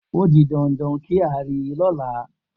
O di dandan kí n rí i lọ́la.